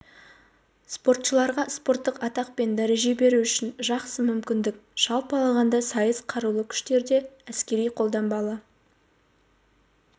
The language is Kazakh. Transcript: спортшыларға спорттық атақ пен дәреже беру үшін жақсы мүмкіндік жалпы алғанда сайыс қарулы күштерде әскери-қолданбалы